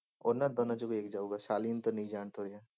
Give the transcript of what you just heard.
ਉਹਨਾਂ ਦੋਨਾਂ ਚੋਂ ਵੀ ਇੱਕ ਜਾਊਗਾ ਸਾਲਿਨ